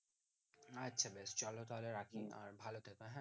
আচ্ছা বেশ চলো তাহলে রাখি আর ভালো থেকো হ্যাঁ